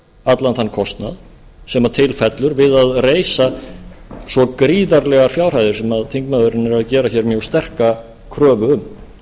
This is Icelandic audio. allan þann kostnað sem til fellur til að reisa svo gríðarlegar fjárhæðir sem þingmaðurinn er að gera hér mjög sterka kröfu um